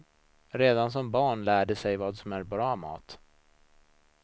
Redan som barn lär de sig vad som är bra mat.